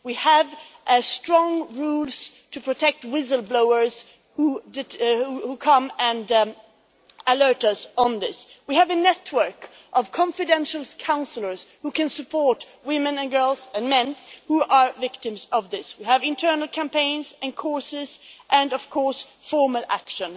We have strong rules to protect whistle-blowers who come and alert us on this. We have a network of confidential counsellors who can support women and girls and men who are victims of this. We have internal campaigns and courses and formal action.